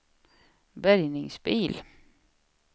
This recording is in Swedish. bärgningsbil